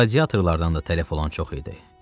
Qladiatorlardan da tələf olan çox idi.